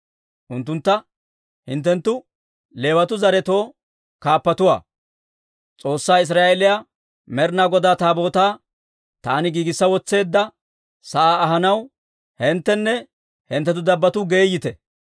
Unttuntta, «Hinttenttu Leewatuu zaretoo kaappatuwaa. S'oossaa Israa'eeliyaa Med'inaa Godaa Taabootaa taani giigissa wotseedda sa'aa ahanaw hinttenne hinttenttu dabbotuu geeyite.